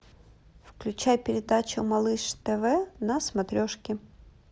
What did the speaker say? включай передачу малыш тв на смотрешке